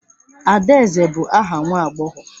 Adaeze bụ aha nwa agbọghọ.